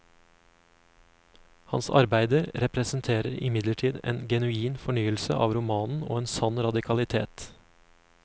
Hans arbeider representerer imidlertid en genuin fornyelse av romanen og en sann radikalitet.